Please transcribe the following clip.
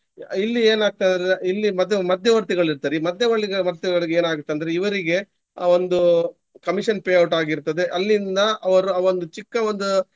ಇಲ್ಲಿ ಏನಾಗ್ತದೆ ಅಂದ್ರೆ ಇಲ್ಲಿ ಮತ್ತೆ ಒಂದು ಮದ್ಯವರ್ತಿಗಳಿರ್ತಾರೆ. ಈ ಮದ್ಯವಳ್ಳಿ~ ವರ್ತಿಗಳಿಗೆ ಏನಾಗುತ್ತಂದ್ರೆ ಇವ್ರಿಗೆ ಒಂದು commission payout ಆಗಿರ್ತದೆ. ಅಲ್ಲಿಂದ ಅವರು ಆ ಒಂದು ಚಿಕ್ಕ ಒಂದು.